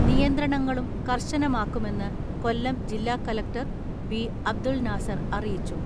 നിയന്ത്രണങ്ങളും കർശനമാക്കുമെന്ന് കൊല്ലം ജില്ലാ കലക്ടർ ബി അബ്ദുൽ നാസർ അറിയിച്ചു.